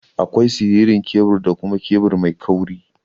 Akwai siririn kebur da kuma kebur mai kauri.